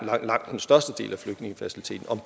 langt størstedelen af flygtningefaciliteten